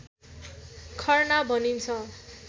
खर्ना भनिन्छ